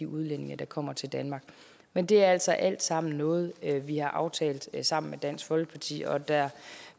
udlændinge der kommer til danmark men det er altså alt sammen noget vi har aftalt sammen med dansk folkeparti og der